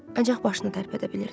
Ancaq başını tərpədə bilirdi.